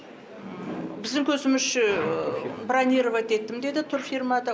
біздің көзімізше бронировать еттім деді турфирмада